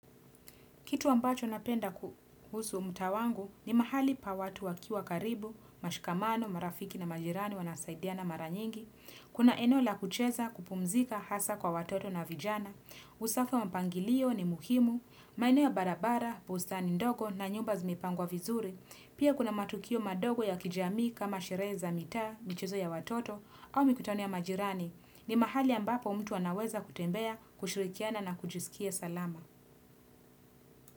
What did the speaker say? Kitu ambacho napenda kuhusu mtaa wangu ni mahali pa watu wakiwa karibu, mashikamano, marafiki na majirani wanasaidiana mara nyingi. Kuna eneo la kucheza kupumzika hasa kwa watoto na vijana. Usafo wa mpangilio ni muhimu, maeneo ya barabara, bustani ndogo na nyumba zimepangwa vizuri. Pia kuna matukio madogo ya kijamii kama sherehe za mitaa, mchezo ya watoto au mikutano ya majirani. Ni mahali ambapo mtu anaweza kutembea, kushirikiana na kujisikia salama.